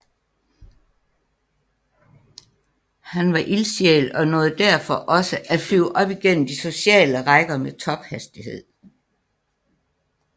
Han var ildsjæl og nåede derfor også at flyve op igennem de sociale rækker med tophastighed